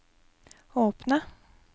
åpne